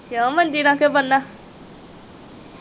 ਕਿਉਂ ਮੰਜੀ ਨਾ ਕਿਉਂ ਬੰਨਾ?